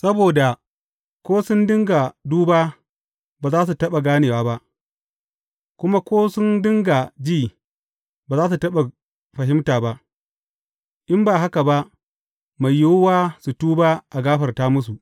Saboda, ko sun dinga duba, ba za su taɓa gane ba, kuma ko su dinga ji, ba za su taɓa fahimta ba, in ba haka ba, mai yiwuwa, su tuba, a gafarta musu!’